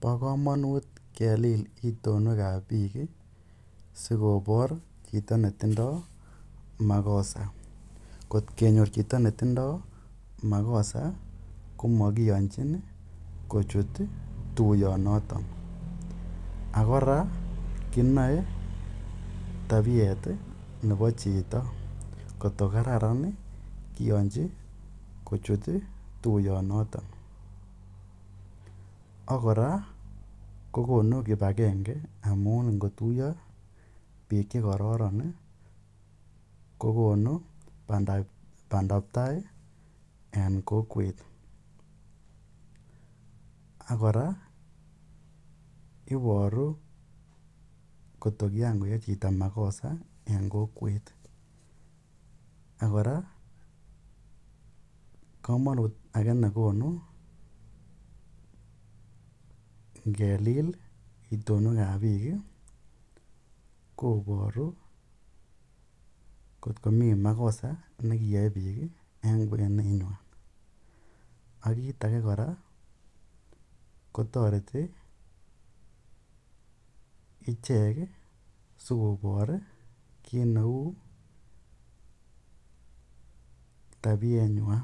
Pa kamanut kelil itonwekap piik si kopar chito ne tindaj makosa. Ngot kenyor chito ne tindai makosa ko makiyanchin kochut tuuyonotok. Ak kora kinae tapiet nepa chito ngot ko kararan kiyanchi kochut tuyonotok. Ak kora ko konu kip agenge amun ngo tuya piik che kararan ko konu pandaptai en kokwet. Ak kora, iparu ngot ko kikakoyaen chito makosa en kokwet. Ak kora kamanut age ne konu ngelil itonwekap piik koparu ngot komi makosa ne kiyai piik eng' kwenywan. Ak kiit age kotareti ichek asikopar kiit neu tapienywan.